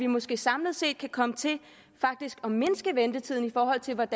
måske samlet set kan komme til faktisk at mindske ventetiderne i forhold til hvad